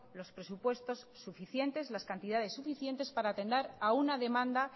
los presupuestos suficientes las cantidades suficientes para atender a una demanda